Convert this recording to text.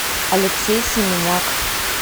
алексей семеняк